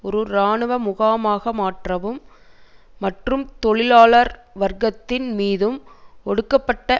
ஒரு இராணுவ முகாமாக மாற்றவும் மற்றும் தொழிலாளர் வர்க்கத்தின் மீதும் ஒடுக்கப்பட்ட